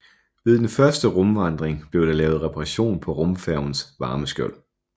Ved den første rumvandring blev der lavet reparation på rumfærgens varmeskjold